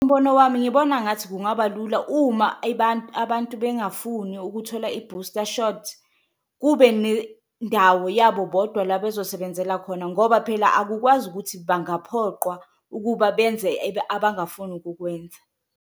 Umbono wami ngibona ngathi kungaba lula uma abantu bengafuni ukuthola i-bhusta shothi kube nendawo yabo bodwa la bezosebenzela khona, ngoba phela akukwazi ukuthi bangaphoqwa ukuba benze abangafuni ukukwenza.